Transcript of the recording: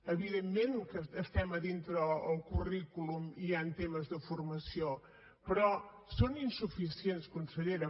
evidentment que dintre del currículum hi han temes de formació però són insuficients consellera